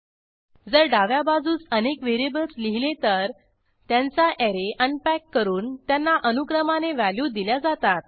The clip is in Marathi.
जर डाव्या बाजूस अनेक व्हेरिएबल्स लिहिले तर त्यांचा ऍरे अनपॅक करून त्यांना अनुक्रमाने व्हॅल्यू दिल्या जातात